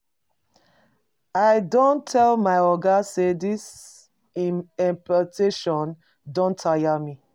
I don tell my oga sey dis im exploitation don tire me.